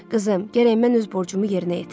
Qızım, gərək mən öz borcumu yerinə yetirəm.